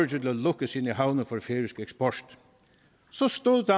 til at lukke sine havne for færøsk eksport så stod